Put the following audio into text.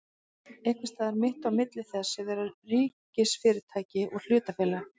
Einhvers staðar mitt á milli þess að vera ríkisfyrirtæki og hlutafélag?